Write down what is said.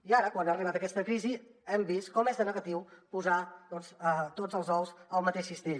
i ara quan ha arribat aquesta crisi hem vist com és de negatiu posar doncs tots els ous al mateix cistell